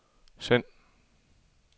send